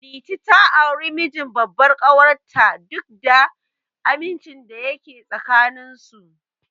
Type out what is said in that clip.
Liti ta auri mijin babbar ƙawar ta, duk da amincin da yake tsakanin su.